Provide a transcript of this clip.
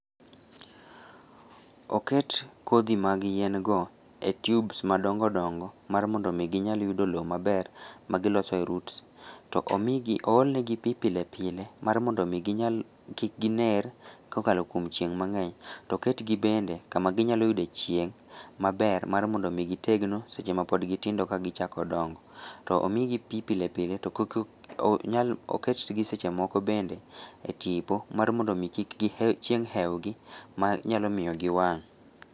Oket kodhi mag yiengo e tubes madongo dongo mar mondomi ginyal yudo loo maber magilosoe roots, to omigi oolnegi pii pile pile mar mondomii ginyal, kikginer kokalo kwom chieng' mang'eny to oketgi bende kumaginyaloyudoe chieng' maber marmondomii gitegno sechema pod gitindo ka gichako dongo, to omigi pii pilepile to kik onyal oketgi sechemoko bende e tipo mar mondomii kik chieng hewgi manyalomiyo giwang'.